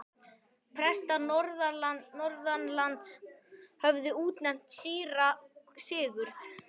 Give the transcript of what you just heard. Prestar norðanlands höfðu útnefnt síra Sigurð.